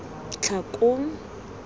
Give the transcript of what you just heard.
tlhakong